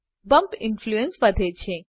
bump influence વધે છે